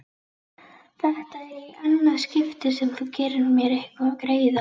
Þetta er í annað skipti sem þú gerir mér greiða